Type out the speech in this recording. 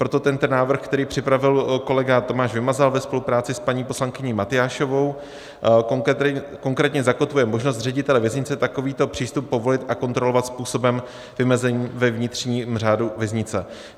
Proto tento návrh, který připravil kolega Tomáš Vymazal ve spolupráci s paní poslankyní Matyášovou, konkrétně zakotvuje možnost ředitele věznice takovýto přístup povolit a kontrolovat způsobem vymezeným ve vnitřním řádu věznice.